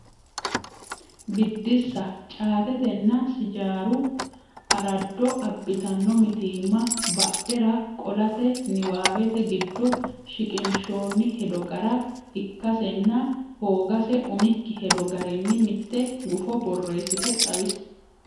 Biddissa Caatetenna sijaaru araado abbitanno mitiimma badhera qolate niwaawete giddo shiqinshoonni hedo gara ikkasenna hoogase umikki hedo garinni mitte gufo borreessite xawisi.